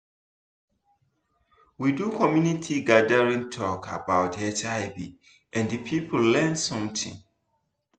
we do community gathering talk about hiv and people learn something